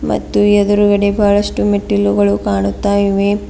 ಮತ್ತು ಎದುರುಗಡೆ ಬಹಳಷ್ಟು ಮೆಟ್ಟಿಲುಗಳು ಕಾಣುತ್ತಾ ಇವೆ.